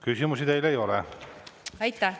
Küsimusi teile ei ole.